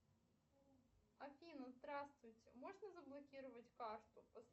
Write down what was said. афина здравствуйте можно заблокировать карту